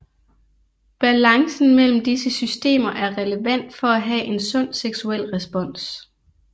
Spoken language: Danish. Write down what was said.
Balancen mellem disse systemer er relevant for at have en sund seksuel respons